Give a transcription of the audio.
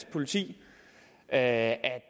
politi at